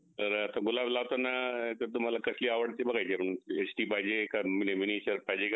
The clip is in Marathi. आणि आत्ता अग प्रत्येक mobile मध्ये ना खूप हे आलय variety म्हणजे कसं oppo oppo मध्ये पण आलय आता oppo f five मना a seventy मना किंवा